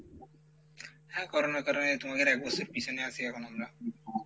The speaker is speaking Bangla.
হ্যাঁ Corona এর কারনে তোমাদের এক বছর পিছনে আসি এখন আমরা।